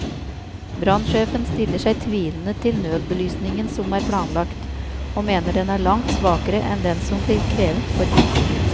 Brannsjefen stiller seg tvilende til nødbelysningen som er planlagt, og mener den er langt svakere enn den som blir krevet for bygninger.